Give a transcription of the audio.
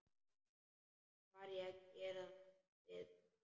Hvað ég geri við þær?